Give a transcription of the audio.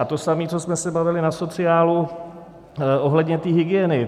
A to samé, co jsme se bavili na sociálu ohledně té hygieny.